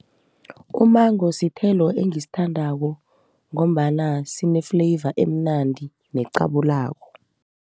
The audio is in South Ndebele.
Umengo sithelo engisithandako ngombana sine-flavour emnandi necabulako.